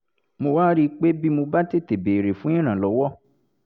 mo wá rí i pé bí mo bá tètè béèrè fún ìrànlọ́wọ́